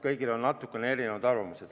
Kõigil on natukene erinevad arvamused.